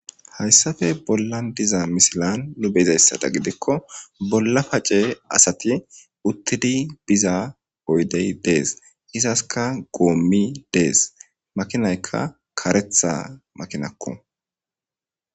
Haysappe bollan diza misiliyan nuni beyizasadan gidikko bolla pacce asati uttidi oydey des izaska gomiyi des makinayka karetha makinakko